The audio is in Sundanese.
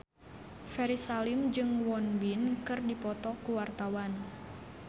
Ferry Salim jeung Won Bin keur dipoto ku wartawan